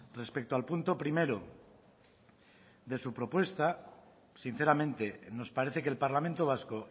respecto al punto primero de su propuesta sinceramente nos parece que el parlamento vasco